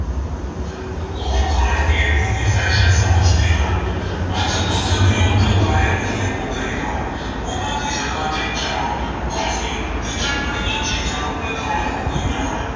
ਉਹ ਖਾਣ-ਪੀਣ ਨੂੰ ਹੀ fashion ਸਮਝਦੇ ਹਨ ਅੱਜ ਦੁੱਧ-ਘਿਉ ਤਾਂ ਗਾਇਬ ਹੀ ਹੋ ਗਏ ਹਨ ਉਨ੍ਹਾਂ ਦੀ ਜਗ੍ਹਾ ਤੇ ਚਾਹ ਕਾਫ਼ੀ ਤੇ ਚੱਟਪਟੀਆਂ ਚੀਜ਼ਾਂ ਪ੍ਰਧਾਨ ਹੋ ਗਈਆਂ ਹਨ।